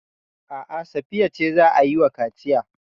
A'a, Safiya ce za a yi wa kaciya.